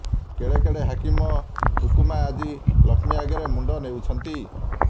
କେଡେ କେଡେ ହାକିମ ହୁକୁମା ଆଜି ଲକ୍ଷ୍ମୀ ଆଗରେ ମୁଣ୍ଡ ନୋଉଁଛନ୍ତି